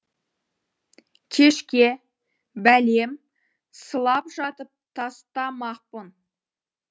кешке бәлем сылап жатып тастамақпын